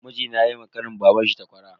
Mijina yayi wa kanin babanshi takwara.